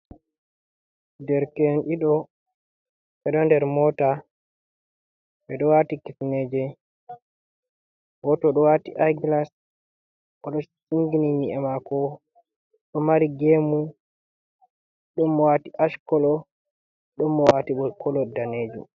Derke en ɗiɗo ɓeɗo nder mota ɓe ɗo wati kifineje goto ɗo wati ai glas, o ɗo singini nyi’e mako, ɗo mari gemu ɗon mo wati ash kala, ɗon mo wati kala danejum.